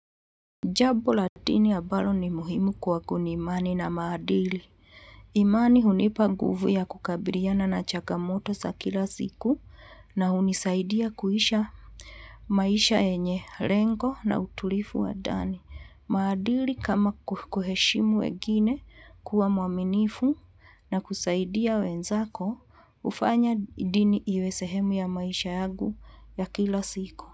Jabo la tini abalo ni muhimu kwagu ni imani na maadili. Imani hunipa guvu ya kukabiriana na chagamoto sa kila siku na hunisaidia kuisha maisha yenye lengo na utulifu wa dani. Maadili kama kuheshimu wengine kuwa mwaminifu na kusaidia wenzako hufanya dini iwe sehemu ya maisha yagu ya kila siku.